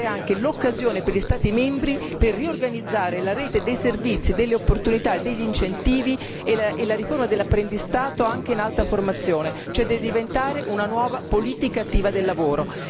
anche l'occasione per gli Stati membri per riorganizzare la rete dei servizi, delle opportunità e degli incentivi e la riforma dell'apprendistato anche in alta formazione, cioè deve diventare una nuova politica attiva del lavoro.